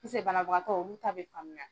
banabagatɔ olu ta bɛ faamuya.